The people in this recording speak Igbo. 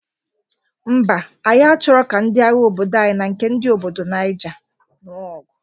Ḿbà, anyi achọrọ ka ndị agha obodo anyị na nke ndị nke obodo Naija nuo ọgụ.